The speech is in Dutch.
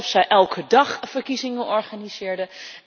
Alsof zij elke dag verkiezingen organiseerden.